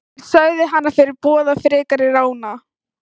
Þeir sögðu hana fyrirboða frekari rána.